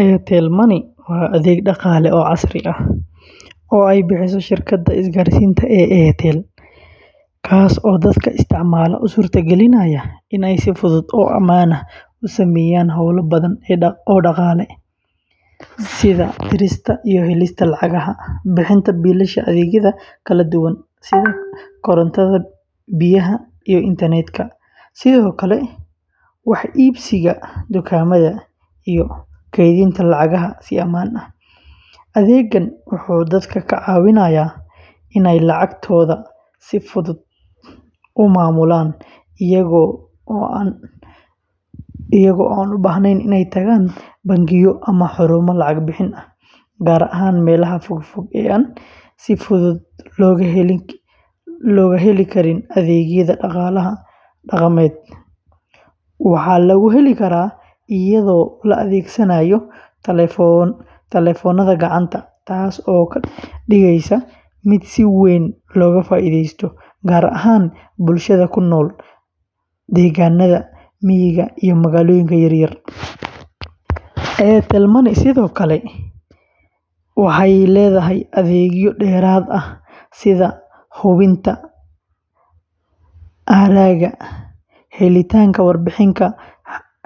Airtel Money waa adeeg dhaqaale oo casri ah oo ay bixiso shirkadda isgaarsiinta ee Airtel, kaas oo dadka isticmaala u suurta gelinaya inay si fudud oo ammaan ah u sameeyaan hawlo badan oo dhaqaale, sida dirista iyo helista lacagaha, bixinta biilasha adeegyada kala duwan sida korontada, biyaha, iyo internet-ka, sidoo kale wax iibsiga dukaamada, iyo kaydinta lacagaha si ammaan ah. Adeeggan wuxuu dadka ka caawiyaa inay lacagtooda si fudud u maamulaan iyaga oo aan baahnayn inay tagaan bangiyo ama xarumo lacag bixin ah, gaar ahaan meelaha fogfog ee aan si fudud loo heli karin adeegyada dhaqaalaha dhaqameed. Waxaa lagu heli karaa iyadoo la adeegsanayo taleefannada gacanta, taas oo ka dhigaysa mid si weyn looga faa’iidaysto gaar ahaan bulshada ku nool deegaanada miyiga iyo magaalooyinka yaryar. Airtel Money sidoo kale waxay leedahay adeegyo dheeraad ah sida hubinta hadhaaga, helitaanka warbixin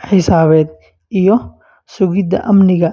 xisaabeed, iyo sugidda amniga.